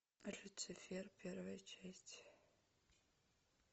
люцифер первая часть